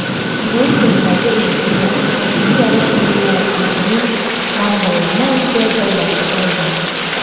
Londondagi uysizlar rossiyalik milliarderning dang‘illama uyiga joylashib oldi.